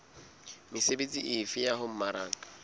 mesebetsi efe ya ho mmaraka